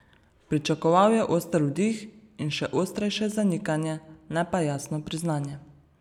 Pričakoval je oster vdih in še ostrejše zanikanje, ne pa jasno priznanje.